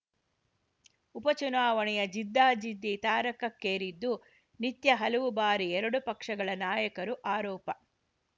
ಉಪ ಚುನಾವಣೆಯ ಜಿದ್ದಾಜಿದ್ದಿ ತಾರಕಕ್ಕೇರಿದ್ದು ನಿತ್ಯ ಹಲವು ಬಾರಿ ಎರಡು ಪಕ್ಷಗಳ ನಾಯಕರು ಆರೋಪ